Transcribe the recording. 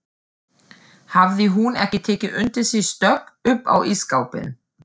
Hafði hún ekki tekið undir sig stökk upp á ísskápinn!